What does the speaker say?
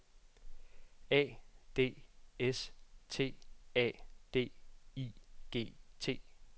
A D S T A D I G T